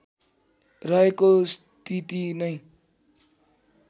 रहेको स्थिति नै